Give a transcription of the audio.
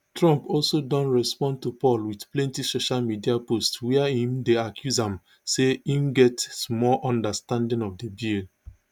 trump also don respond to paul wit plenti social media posts wia im dey accuse am say im get small understanding of di bill